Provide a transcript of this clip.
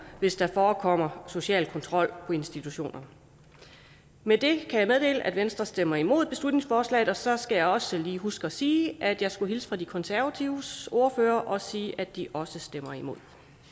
hvis der forekommer social kontrol på institutionerne med det kan jeg meddele at venstre stemmer imod beslutningsforslaget og så skal jeg også lige huske at sige at jeg skulle hilse fra de konservatives ordfører og sige at de også stemmer imod